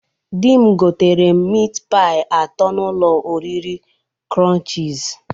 Di m goterem mịt paị atọ n'ụlọ oriri Krọnchịz